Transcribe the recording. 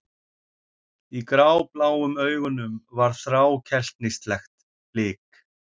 Í grábláum augunum var þrákelknislegt blik.